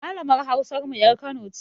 Malamar Hausar mu ƴar Kano ce.